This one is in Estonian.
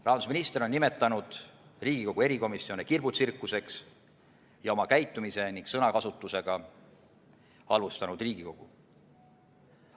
Rahandusminister on nimetanud Riigikogu erikomisjone kirbutsirkuseks ja oma käitumise ning sõnakasutusega halvustanud Riigikogu.